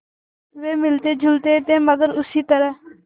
वे मिलतेजुलते थे मगर उसी तरह